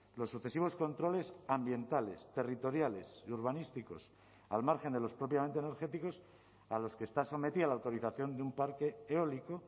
los sucesivos controles ambientales territoriales y urbanísticos al margen de los propiamente energéticos a los que está sometida la autorización de un parque eólico